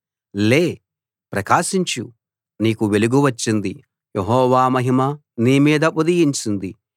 లే ప్రకాశించు నీకు వెలుగు వచ్చింది యెహోవా మహిమ నీ మీద ఉదయించింది